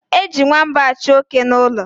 Eji nwamba achụ oke n' ụlọ.